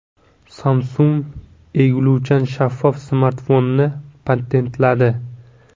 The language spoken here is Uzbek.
Samsung egiluvchan shaffof smartfonni patentladi.